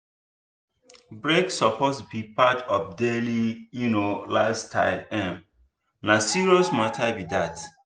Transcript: break suppose be part of daily um lifestyle um na serious matter be that.